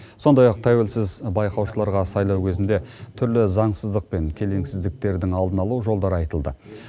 сондай ақ тәуелсіз байқаушыларға сайлау кезінде түрлі заңсыздық пен келеңсіздіктердің алдын алу жолдары айтылды